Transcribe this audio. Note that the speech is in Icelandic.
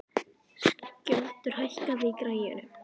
Skjöldur, hækkaðu í græjunum.